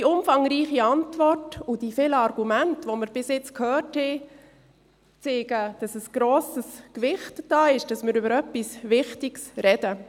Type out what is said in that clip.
– Die umfangreiche Antwort und die vielen Argumente, die wir bisher gehört haben, zeigen, dass ein grosses Gewicht vorhanden ist, dass wir über etwas Wichtiges sprechen.